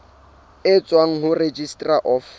e tswang ho registrar of